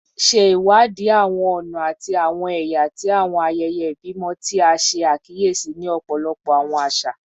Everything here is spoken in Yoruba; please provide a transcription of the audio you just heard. Ṣe iwadi awọn ọna ati awọn ẹya ti awọn ayẹyẹ ibimọ ti a ṣe akiyesi ni ọpọlọpọ awọn aṣa